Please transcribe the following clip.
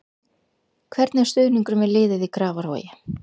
Hvernig er stuðningurinn við liðið í Grafarvogi?